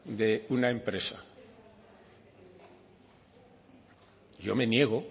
de una empresa yo me niego